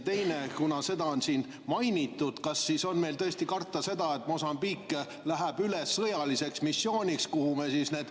Teiseks, kuna seda on siin mainitud, kas siis on tõesti karta, et missioon Mosambiigis, kuhu me need 100 meest saadame, läheb üle sõjaliseks missiooniks?